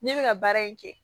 Ne bɛ ka baara in kɛ